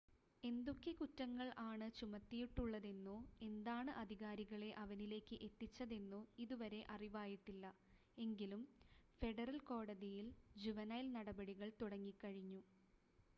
എന്തൊക്കെ കുറ്റങ്ങൾ ആണ് ചുമത്തിയിട്ടുള്ളതെന്നോ എന്താണ് അധികാരികളെ അവനിലേക്ക് എത്തിച്ചതെന്നോ ഇതുവരെ അറിവായിട്ടില്ല എങ്കിലും ഫെഡറൽ കോടതിയിൽ ജുവൈനൽ നടപടികൾ തുടങ്ങി കഴിഞ്ഞു